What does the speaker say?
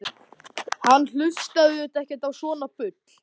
Hann hlustaði auðvitað ekki á svona bull.